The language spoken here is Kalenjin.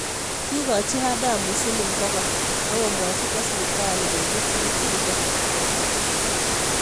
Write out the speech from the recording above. Kikoji Adamu siling pogol akomwachi kwo siptali petut niki rube.